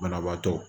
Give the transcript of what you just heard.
Banabaatɔ